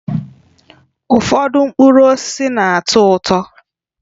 Ụfọdụ mkpụrụ osisi na-atọ ụtọ